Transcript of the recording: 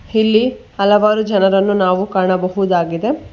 ಹಿಲ್ಲಿ ಹಲವಾರು ಜನರನ್ನು ನಾವು ಕಾಣಬಹುದಾಗಿದೆ.